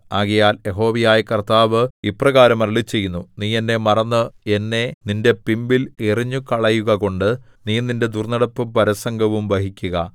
ആകയാൽ യഹോവയായ കർത്താവ് ഇപ്രകാരം അരുളിച്ചെയ്യുന്നു നീ എന്നെ മറന്ന് എന്നെ നിന്റെ പിമ്പിൽ എറിഞ്ഞുകളയുകകൊണ്ട് നീ നിന്റെ ദുർന്നടപ്പും പരസംഗവും വഹിക്കുക